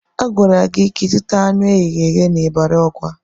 Agwara gị ka ịzụta anụ eghere eghe n'Ịbari Ọgwa!